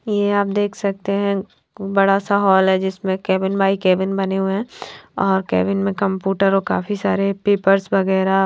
ये आप देख सकते है बड़ा सा होल है जिसमे केबिन बाय केबिन बने हुए है और केबिन में कमपूटर और काफी सारे पेपर्स वगेरा --